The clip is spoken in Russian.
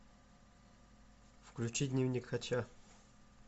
включи дневник хача